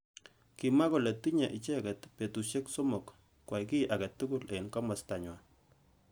Kimwa kole tinyei icheket betushek somok. kwai ki age tugul eng kimosta nywa.